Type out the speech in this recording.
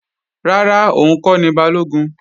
Rárá, òun kọ́ ni Balógun